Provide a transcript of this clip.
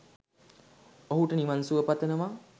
ඔහුට නිවන්සුව පතනවා